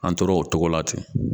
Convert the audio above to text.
An tora o cogo la ten